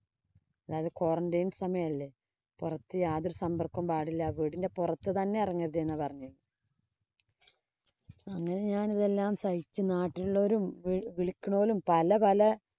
അതായത് quarantine സമയം അല്ലേ. പൊറത്ത് യാതൊരു സമ്പര്‍ക്കവും പാടില്ല. വീടിന്‍റെ പൊറത്ത് തന്നെ എറങ്ങരുതെ എന്നാ പറഞ്ഞേ. അങ്ങനെ ഞാനിതെല്ലാം സഹിച്ച് നാട്ടിലുള്ളോരും, വി വിളിക്കണോരും പല പല